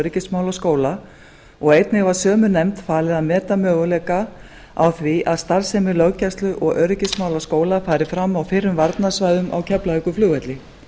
öryggismálaskóla og einnig var sömu nefnd falið að meta möguleika á því að starfsemi löggæslu og öryggismálaskóla fari fram á fyrrum varnarsvæðum á keflavíkurflugvelli